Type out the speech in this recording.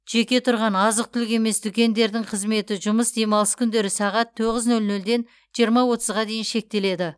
жеке тұрған азық түлік емес дүкендердің қызметі жұмыс демалыс күндері сағат тоғыз нөл нөлден жиырма отызға дейін шектеледі